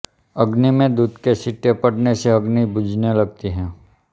अग्नि में दूध के छींटे पडने से अग्नि बुझने लगती है